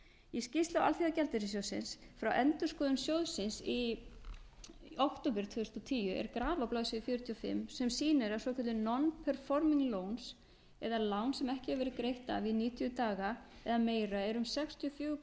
í skýrslu alþjóðagjaldeyrissjóðsins frá endurskoðun sjóðsins í október tvö þúsund og tíu er graf á blaðsíðu fjörutíu og fimm sem sýnir að svokölluð non performing loans eða lán sem ekki hefur verið greitt af í níutíu daga eða meira eru um sextíu og fjögur prósent allra